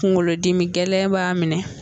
Kungolodimi gɛlɛn b'a minɛ